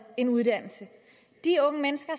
en uddannelse de unge mennesker